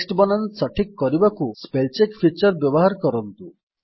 text ବନାନ ସଠିକ୍ କରିବାକୁ ସ୍ପେଲ୍ ଚେକ୍ ଫିଚର୍ ବ୍ୟବହାର କରନ୍ତୁ